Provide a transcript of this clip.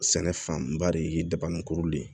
Sɛnɛ fanba de ye dabanikuru de ye